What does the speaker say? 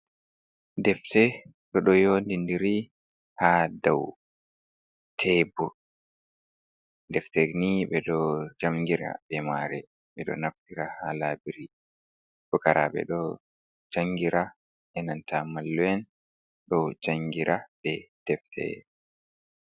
Defte ɗe ɗo yowni ndiri ha daw tebur. Defte ni ɓe ɗo jangira be mare, ɓe ɗo naftira ha laburi. Fukarabe ɗo jangira, enanta mallum en, ɗo jangira be defte.